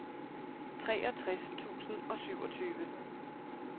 treogtres tusind og syvogtyve